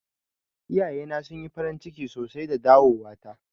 Iyaye na sun yi farin ciki sosai da dawowa ta.